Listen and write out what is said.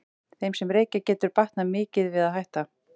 Þeim sem reykja getur batnað mikið við að hætta.